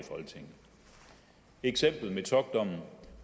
eksemplet metockdommen